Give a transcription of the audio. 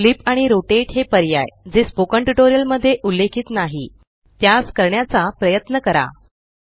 इतर पर्याय जसे कि फ्लिप आणि रोटेट ज्याचा स्पोकन ट्यूटोरियल मध्ये उल्लेख केलेला नाही त्यास करण्याचा प्रयत्न करा